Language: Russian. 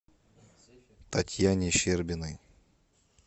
татьяне щербиной